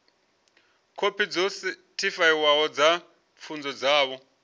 khophi dzo sethifaiwaho dza pfunzo dzavho